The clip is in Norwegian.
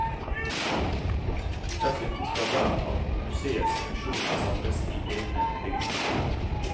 Dessuten skal hver av museets funksjoner samles i egne bygninger.